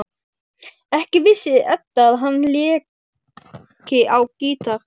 Ekki vissi Edda að hann léki á gítar.